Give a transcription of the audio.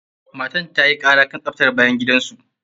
Matar ta yi ƙara kan tsaftar bayan gidan su.